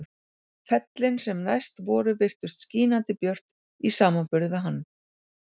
Fellin sem næst voru virtust skínandi björt í samanburði við hann.